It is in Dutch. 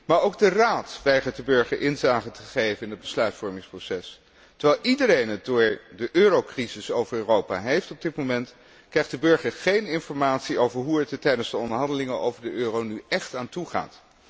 aan. Maar ook de Raad weigert de burger inzage te geven in het besluitvormingsproces. Terwijl iedereen het door de euro crisis over Europa heeft op dit moment, krijgt de burger geen informatie over hoe het er tijdens de onderhandelingen over de euro nu echt aan toe